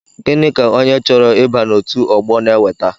Gịnị ka onye chọrọ ịba n'otu ọgbọ n'eweta?